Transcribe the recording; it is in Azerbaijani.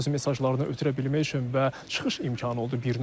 Öz mesajlarını ötürə bilmək üçün və çıxış imkanı oldu bir növ.